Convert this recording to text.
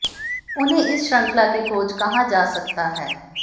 उन्हें इस श्रृंखला की खोज कहा जा सकता है